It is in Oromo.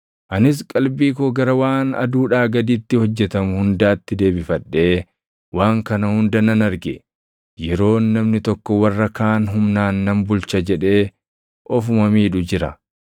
Anis qalbii koo gara waan aduudhaa gaditti hojjetamu hundaatti deebifadhee waan kana hunda nan arge. Yeroon namni tokko warra kaan humnaan nan bulcha jedhee ofuma miidhu jira.